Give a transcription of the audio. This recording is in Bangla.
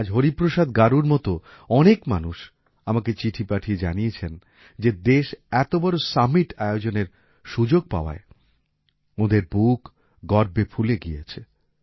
আজ হরিপ্রসাদ গারুর মত অনেক মানুষ আমাকে চিঠি পাঠিয়ে জানিয়েছেন যে দেশ এত বড় সামিট আয়োজনের সুযোগ পাওয়ায় ওঁদের বুক গর্বে ফুলে গিয়েছে